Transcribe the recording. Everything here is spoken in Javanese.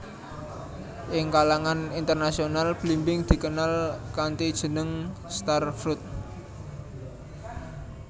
Ing kalangan internasional blimbing dikenal kanthi jeneng star fruit